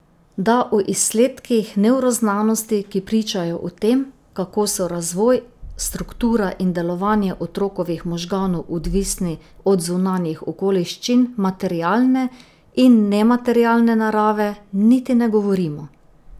Da o izsledkih nevroznanosti, ki pričajo o tem, kako so razvoj, struktura in delovanje otrokovih možganov odvisni od zunanjih okoliščin materialne in nematerialne narave, niti ne govorimo.